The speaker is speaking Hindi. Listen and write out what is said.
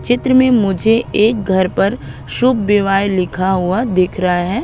चित्र में मुझे एक घर पर शुभ विवाह लिखा हुआ दिख रहा है।